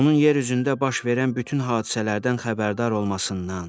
Onun yer üzündə baş verən bütün hadisələrdən xəbərdar olmasından.